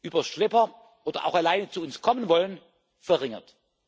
über Schlepper oder auch alleine zu uns kommen wollen, verringert.